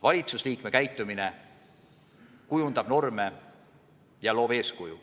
Valitsusliikme käitumine kujundab norme ja loob eeskuju.